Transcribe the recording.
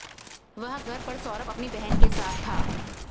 वह घर पर सौरभ अपनी बहन के साथ था